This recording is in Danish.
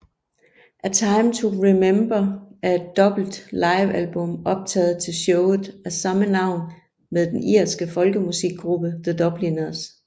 A Time to Remember er et dobbelt livealbum optaget til showet af samme navn med den irske folkemusikgruppe The Dubliners